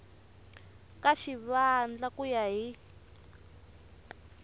ka xivandla ku ya hi